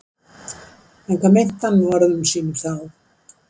En hvað meinti hann með orðum sínum þá?